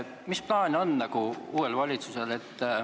Mis plaan uuel valitsusel on?